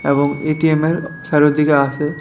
এবং এটিএমের চারদিকে আসে।